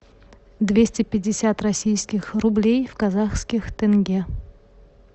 двести пятьдесят российских рублей в казахских тенге